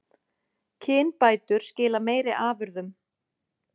Kynbætur skila meiri afurðum